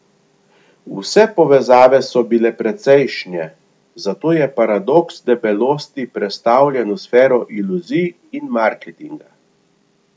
Vse povezave so bile precejšnje, zato je paradoks debelosti prestavljen v sfero iluzij in marketinga.